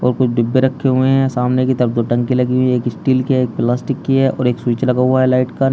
और कुछ डिब्बे रखे हुए हैं। सामने की तरफ दो टंकी लगी हुई हैं। एक स्टील की है एक प्लास्टिक की है और एक स्विच लगा हुआ है लाइट का।